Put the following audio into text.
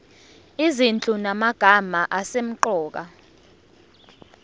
izinhlu zamagama asemqoka